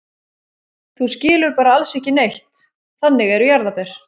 Þú skilur bara alls ekki neitt, þannig eru jarðarber.